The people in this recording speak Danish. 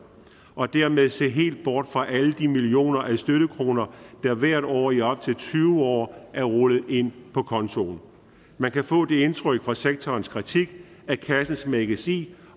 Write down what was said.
og dermed se helt bort fra alle de millioner af støttekroner der hvert år i op til tyve år er rullet ind på kontoen man kan få det indtryk fra sektorens kritik at kassen smækkes i